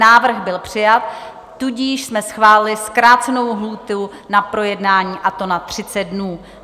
Návrh byl přijat, tudíž jsme schválili zkrácenou lhůtu na projednání, a to na 30 dnů.